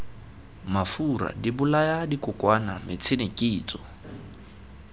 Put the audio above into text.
mafura dibolaya dikokwana metšhine kitso